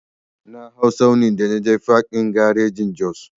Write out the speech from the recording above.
Na hau tsauni da naje fak ɗin garin Jos.